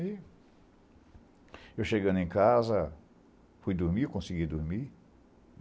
E eu chegando em casa, fui dormir, eu consegui dormir?